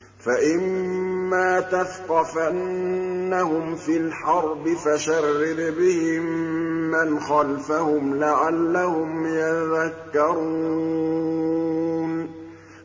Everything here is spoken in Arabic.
فَإِمَّا تَثْقَفَنَّهُمْ فِي الْحَرْبِ فَشَرِّدْ بِهِم مَّنْ خَلْفَهُمْ لَعَلَّهُمْ يَذَّكَّرُونَ